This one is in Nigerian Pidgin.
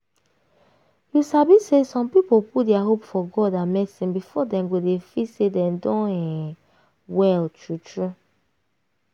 you sabi say some people put dia hope for god and medicine before dem go dey feel say dem don um well true true.